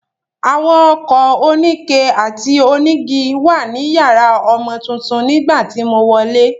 Àwọn ọkọ̀ oníke àti onígi wà ní yàrá ọmọ tuntun nígbà tí mo wọlé.